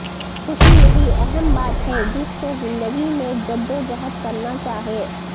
خوشی یہی اہم بات ہے جس کو زندگی میں جدوجہد کرنا چاہئے